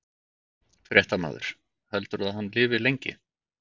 Fréttamaður: Heldurðu að hann lifi lengi?